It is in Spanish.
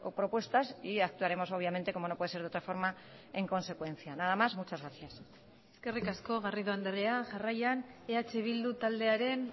propuestas y actuaremos obviamente como no puede ser de otra forma en consecuencia nada más muchas gracias eskerrik asko garrido andrea jarraian eh bildu taldearen